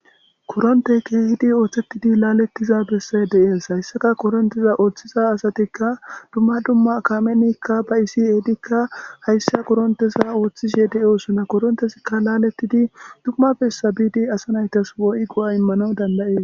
Koronththee keehidi ooseththidi laaleththiza bessay de7ees;hayssaka korinththeththetha ooththida asathikka dumma dumma kaamenikka ba7essi ehidikka hayssa koronththetha woththishee de7oosonakoo;koronthethikka laaleththidi dumma bessa biidi asa na7ithas keehi go7aa immanawu dandda7ees.